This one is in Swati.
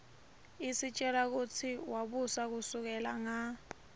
isitjela kutsi wabusa kusukela nga